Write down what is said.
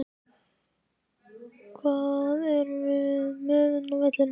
Hvað erum við með inni á vellinum?